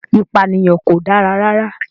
Ìpànìyàn kò dára.